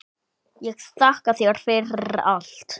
Ég þakka þér fyrir allt.